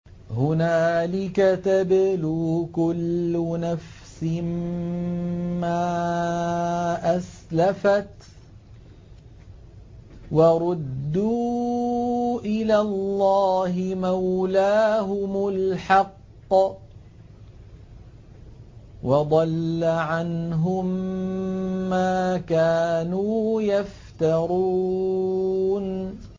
هُنَالِكَ تَبْلُو كُلُّ نَفْسٍ مَّا أَسْلَفَتْ ۚ وَرُدُّوا إِلَى اللَّهِ مَوْلَاهُمُ الْحَقِّ ۖ وَضَلَّ عَنْهُم مَّا كَانُوا يَفْتَرُونَ